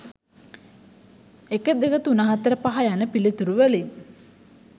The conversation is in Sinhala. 1, 2, 3, 4, 5 යන පිළිතුරු වලින්